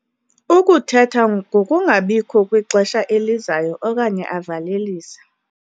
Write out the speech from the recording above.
Ukuthetha ngokungabikho kwixesha elizayo okanye avalelise.